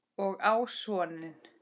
Og á soninn.